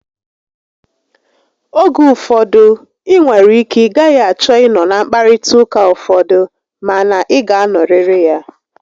Oge ụfọdụ, ị nwere ike ị gaghị achọ ị nọ na nkparịta ụka ụfọdụ, ma na ị ga anọrịrị ya